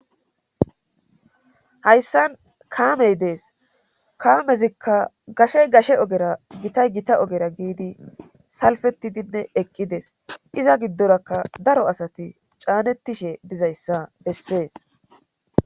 hayssan kaamey dees kaamezikka gashey gashe ogera gitay gita ogera giidi salfetidinne eqqides iza giddorakka daro asati caanettishe dizayssa bessees